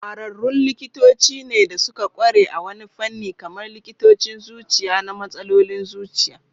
Kwararrun likitoci ne da suka kware a wani fanni, kamar likitocin zuciya na matsalolin zuciya.